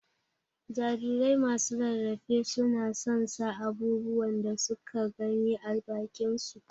jarirai masu rarafe su na son sa abubuwan da suka gani ã bakin su.